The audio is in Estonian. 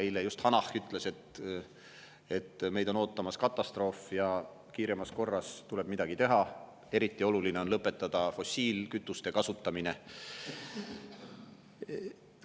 Eile just Hanah ütles, et meid on ootamas katastroof ja kiiremas korras tuleb midagi teha, eriti oluline on lõpetada fossiilkütuste kasutamine.